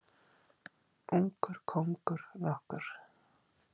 Ungur kóngur nokkur.